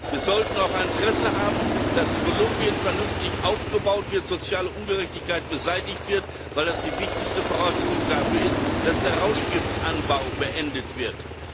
Wir sollten auch ein Interesse haben, dass Kolumbien vernünftig aufgebaut wird, soziale Ungerechtigkeit beseitigt wird, weil das die wichtigste Voraussetzung dafür ist, dass der Rauschgiftanbau beendet wird.